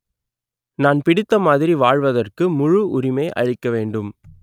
நான் பிடித்தமாதிரி வாழ்வதற்கு முழு உரிமை அளிக்க வேண்டும்